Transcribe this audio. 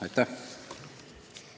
Aitäh!